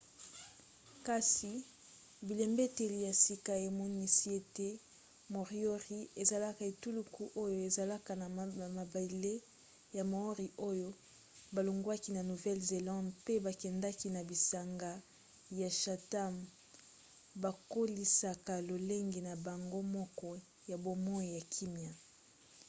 kasi bilembeteli ya sika emonisi ete moriori ezalaki etuluku oyo ezalaka na mabele ya maori oyo balongwaki na nouvelle-zélande mpe bakendaki na bisanga ya chatham bakolisaka lolenge na bango moko ya bomoi ya kimya